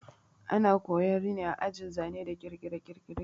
Ana koya rini a ajin zane da kirkire-kirkire